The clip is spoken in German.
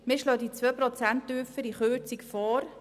Wir schlagen die um 2 Prozent tiefere Kürzung vor.